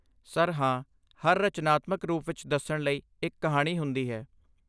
Sir, ਹਾਂ। ਹਰ ਰਚਨਾਤਮਕ ਰੂਪ ਵਿੱਚ ਦੱਸਣ ਲਈ ਇੱਕ ਕਹਾਣੀ ਹੁੰਦੀ ਹੈ।